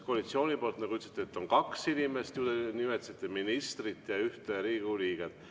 Koalitsioonist, te ütlesite, on kaks inimest – nimetasite ministrit ja ühte Riigikogu liiget.